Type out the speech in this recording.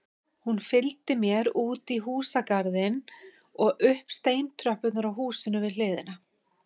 Fylgdi hún mér útí húsagarðinn og upp steintröppurnar á húsinu við hliðina.